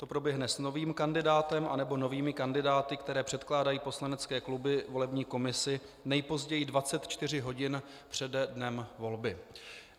To proběhne s novým kandidátem anebo novými kandidáty, které předkládají poslanecké kluby volební komisi nejpozději 24 hodin přede dnem volby.